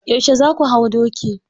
Yauce za su hau doki?